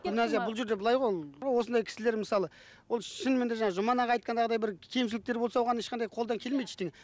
гүлназия бұл жерде былай ғой ол осындай кісілер мысалы ол шынымен де жаңа жұман аға айтқандай бір кемшіліктер болса оған ешқандай қолдан келмейді ештеңе